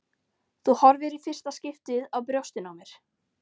Þú horfir í fyrsta skipti á brjóstin á mér.